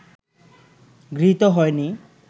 গৃহীত হয়নি